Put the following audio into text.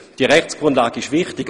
Diese Rechtsgrundlage ist wichtig.